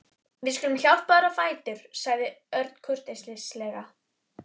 Við skulum hjálpa þér á fætur sagði Örn kurteislega.